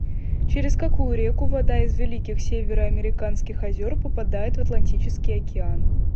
через какую реку вода из великих североамериканских озер попадает в атлантический океан